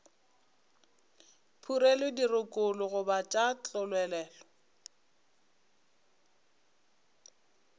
phurelwe dirokolo goba tša tlolelwa